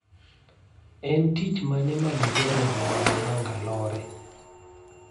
En tich mane ma diere e boma ma Mangalore